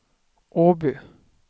Åby